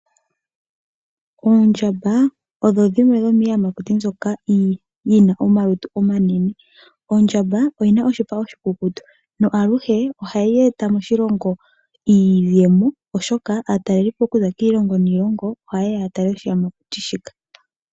Oondjamba odho dhimwe dhomiiyamakuti mbyoka yina omalutu omanene, ondjamba oyina oshipa oshikukutu, no aluhe ohayi eta moshilongo iiyemo oshoka aatalelipo okuza kiilongo niilongo oha ye ya yatale oshiyamakuti shika.